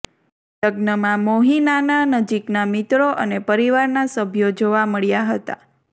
લગ્નમાં મોહિનાનાં નજીકનાં મિત્રો અને પરિવારનાં સભ્યો જોવા મળ્યાં હતાં